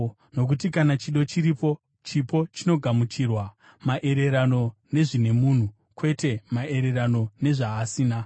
Nokuti kana chido chiripo, chipo chinogamuchirwa, maererano nezvine munhu, kwete maererano nezvaasina.